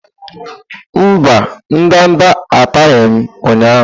Mba, ndanda ataghị m ụnyahụ.